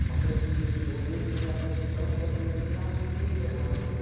É uma coisa que eu vejo na minha profissão que às vezes me assusta realmente.